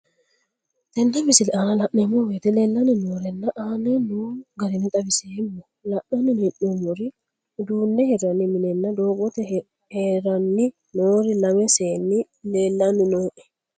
Tenne misile aana laeemmo woyte leelanni noo'ere aane noo garinni xawiseemmo. La'anni noomorri udduune hirranni minenna doogote haranni noori lame seeni leelanni nooe.